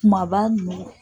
Kumaba ninnugu.